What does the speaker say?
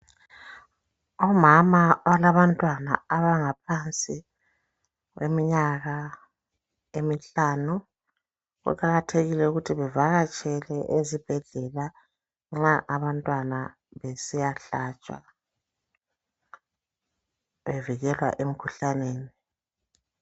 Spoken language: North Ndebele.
Omama abalabantwana abangaphansi kweminyaka emihlanu . Kuqakathekile ukuthi bevakatshele ezibhedlela nxaa abantwana besiyahlatshwa bevikelwa emkhuhlaneni.